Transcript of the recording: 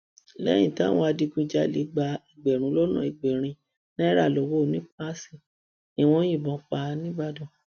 lẹyìn táwọn adigunjalè gba ẹgbẹrún lọnà ẹgbẹrin naira lowó onípas ni wọn yìnbọn pa á nìbàdàn